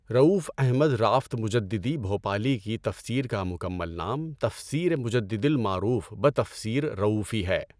رؤوف احمد رأفت مجددی بھوپالی کی تفسیر کا مکمل نام تفسیر مجددی المعروف بہ تفسیر رؤوفی ہے۔